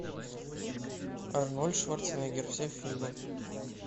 арнольд шварценеггер все фильмы